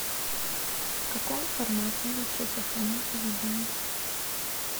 в каком формате лучше сохранять видео